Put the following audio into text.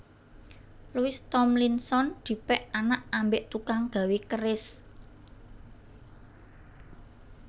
Louis Thomlinson dipek anak ambek tukang gawe keris